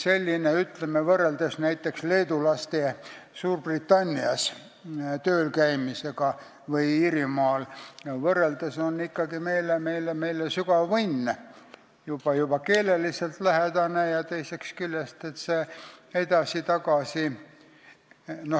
meile võrreldes näiteks leedulaste Suurbritannias või Iirimaal tööl käimisega ikkagi sügav õnn, kui mõelda juba keelelisele lähedusele ja teisest küljest sellele edasi-tagasi sõitmisele.